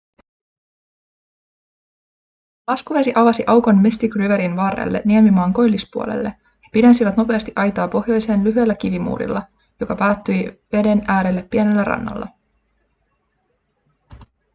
kun laskuvesi avasi aukon mystic riverin varrelle niemimaan koillispuolelle he pidensivät nopeasti aitaa pohjoiseen lyhyellä kivimuurilla joka päättyi veden äärelle pienellä rannalla